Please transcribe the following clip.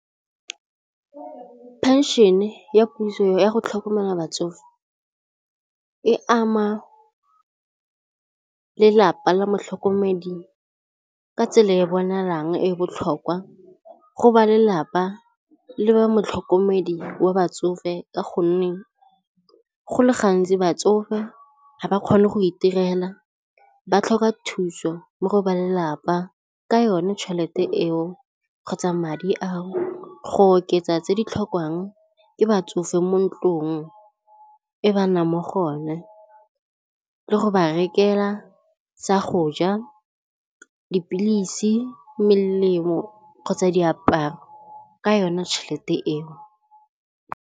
Pension-e ya puso ya go tlhokomela batsofe e ama lelapa la motlhokomedi ka tsela e e bonalang e botlhokwa go ba lelapa le ba motlhokomedi wa batsofe ka gonne go le gantsi batsofe ga ba kgone go itirela, ba tlhoka thuso mo go ba lelapa ka yone tšhelete eo kgotsa madi ao go oketsa tse di tlhokwang ke batsofe mo ntlong e ba nnang mo go yone le go ba rekela sa go ja, dipilisi, melemo kgotsa diaparo ka yona tšhelete eo.